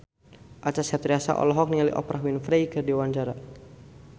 Acha Septriasa olohok ningali Oprah Winfrey keur diwawancara